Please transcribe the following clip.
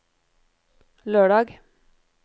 lørdag